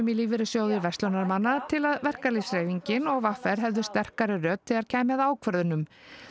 í Lífeyrissjóði verslunarmanna til að verkalýðshreyfingin og v r hefðu sterkari rödd þegar kæmi að ákvörðunum